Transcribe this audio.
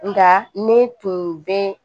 Nka ne tun bɛ